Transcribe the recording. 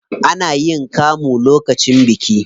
Ana yin kamu lokacin biki.